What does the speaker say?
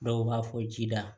Dɔw b'a fɔ ji la